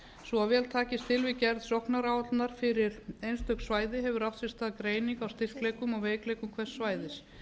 svo vel takist til við gerð sóknaráætlunar fyrir einstök svæði hefur átt sér stað greining á styrkleikum og veikleikum hvers svæðis